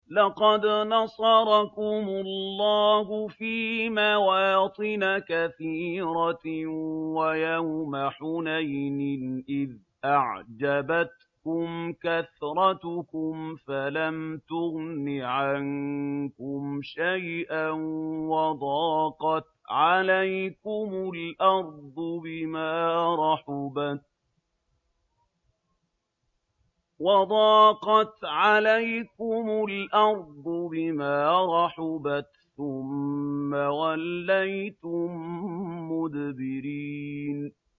لَقَدْ نَصَرَكُمُ اللَّهُ فِي مَوَاطِنَ كَثِيرَةٍ ۙ وَيَوْمَ حُنَيْنٍ ۙ إِذْ أَعْجَبَتْكُمْ كَثْرَتُكُمْ فَلَمْ تُغْنِ عَنكُمْ شَيْئًا وَضَاقَتْ عَلَيْكُمُ الْأَرْضُ بِمَا رَحُبَتْ ثُمَّ وَلَّيْتُم مُّدْبِرِينَ